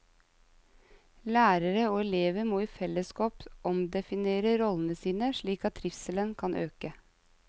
Lærere og elever må i fellesskap omdefinere rollene sine, slik at trivselen kan øke.